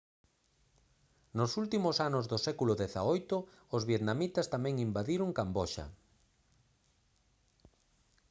nos últimos anos do século xviii os vietnamitas tamén invadiron camboxa